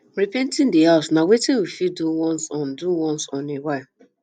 repainting di house na wetin we fit do once on do once on a while